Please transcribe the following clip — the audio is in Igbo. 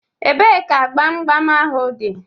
Ebee ka gbam gbam ahụ dị?